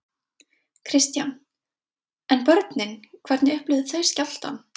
Kristján: En börnin hvernig upplifðu þau skjálftann?